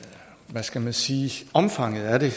hvad skal man sige omfanget af det